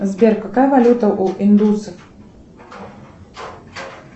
сбер какая валюта у индусов